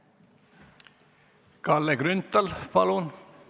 Kalle Grünthal, palun!